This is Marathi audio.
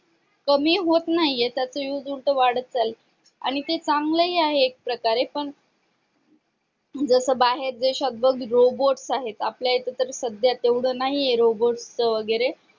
कमी होत नाहीये तर ती फक्त वाढत चालली आहे आणि ते चांगलं हि आहे एक प्रकारे पण जस बाहेर देशात बघ robots आहेत आपल्या इथं तर सध्या नाहीये robots च वगैरे